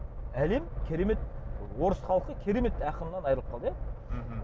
әлем керемет орыс халқы керемет ақынынан айырылып қалды иә мхм